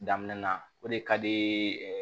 Daminɛna o de ka di